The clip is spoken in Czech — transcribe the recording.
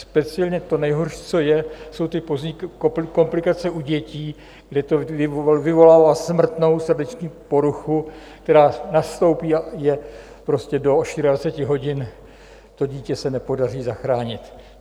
Speciálně to nejhorší, co je, jsou ty pozdní komplikace u dětí, kde to vyvolává smrtnou srdeční poruchu, která nastoupí a je prostě do 24 hodin, to dítě se nepodaří zachránit.